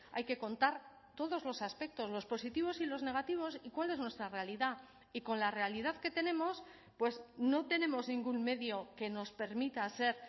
hay que contar todos los aspectos los positivos y los negativos y cuál es nuestra realidad y con la realidad que tenemos pues no tenemos ningún medio que nos permita ser